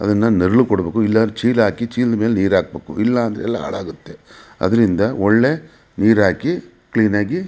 ಅದ್ನ ನೆರಳು ಕೊಡಬೇಕು ಇಲ್ಲಾಂದ್ರೆ ಚೀಲ ಹಾಕಿ ಚೀಲದ ಮೇಲೆ ನೀರು ಹಾಕಬೇಕು ಇಲ್ಲಾಂದ್ರೆ ಎಲ್ಲ ಹಾಳಾಗುತ್ತೆ ಅದ್ರಿಂದ ಒಳ್ಳೆ ನೀರು ಹಾಕಿ ಕ್ಲೀನ್ ಆಗಿ --